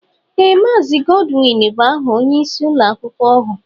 Ee Maazi Godwin bụ aha ónyé ịsị ụlọakwụkwọ ọhụụ.